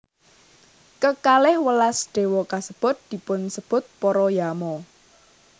Kekalih welas déwa kasebut dipunsebut para Yama